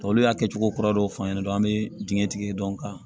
Olu y'a kɛcogo kura dɔw f'an ɲɛna dɔrɔn an bɛ dingɛ tigi dɔ kan